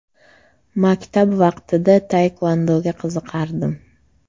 Maktab vaqtida taekvondoga qiziqardim.